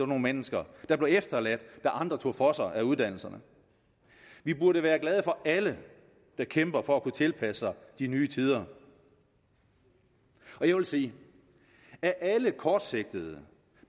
nogle mennesker der blev efterladt da andre tog for sig af uddannelserne vi burde være glade for alle der kæmper for at kunne tilpasse sig de nye tider og jeg vil sige at af alle kortsigtede